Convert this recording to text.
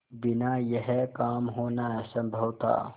बिना यह काम होना असम्भव था